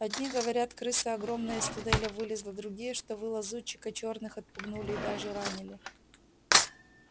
одни говорят крыса огромная из туннеля вылезла другие что вы лазутчика черных отпугнули и даже ранили